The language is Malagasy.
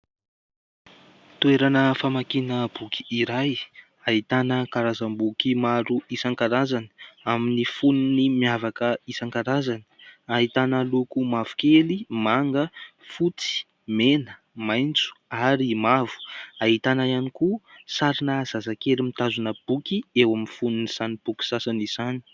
Toerana famakiana boky iray ahitana karazam-boky maro isankarazany, amin'ny fonony miavaka isankarazany, ahitana loko mavokely, manga, fotsy, mena, maitso ary mavo . Ahitana ihany koa sarina zazakely mitazona boky eo amin'ny fonony izany boky sasana izany.